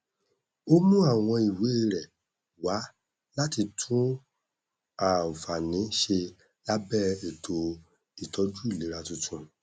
ó mú àwọn ìwé rẹ wá láti tún ànfààní ṣe lábẹ ètò ìtọjú ìlera tuntun